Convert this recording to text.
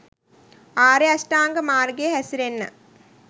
ආර්ය අෂ්ටාංගික මාර්ගයේ හැසිරෙන්න